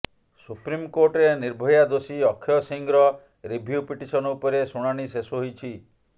ସୁପ୍ରିମକୋର୍ଟରେ ନିର୍ଭୟା ଦୋଷୀ ଅକ୍ଷୟ ସିଂର ରିଭ୍ୟୁ ପିଟିସନ ଉପରେ ଶୁଣାଣି ଶେଷ ହୋଇଛି